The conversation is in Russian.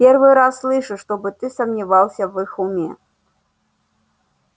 первый раз слышу чтобы ты сомневался в их уме